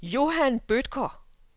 Johan Bødker